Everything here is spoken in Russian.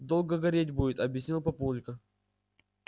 долго гореть будет объяснил папулька